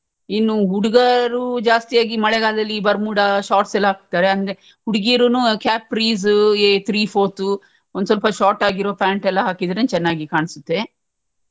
ಇನ್ನು ಹುಡುಗಾರು ಜಾಸ್ತಿಯಾಗಿ ಮಳೆಗಾಲದಲ್ಲಿ ಬರ್ಮುಡಾ shorts ಎಲ್ಲ ಹಾಕ್ತಾರೆ ಅಂದ್ರೆ ಹುಡ್ಗಿರುನು capris ಏ three fourth ಒಂದ್ ಸ್ವಲ್ಪ short ಆಗಿರೋ pant ಎಲ್ಲ ಹಾಕಿದ್ರೇನೆ ಒಂದ್ ಸ್ವಲ್ಪ ಚನ್ನಾಗಿ ಕಾಣ್ಸುತ್ತೆ.